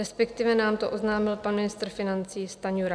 Respektive nám to oznámil pan ministr financí Stanjura.